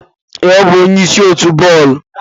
Ee, ọ bụ onye isi otu bọọlụ.